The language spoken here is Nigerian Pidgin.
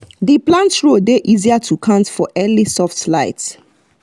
the plant rows dey easier to count for early soft light